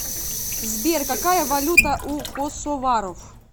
сбер какая валюта у косоваров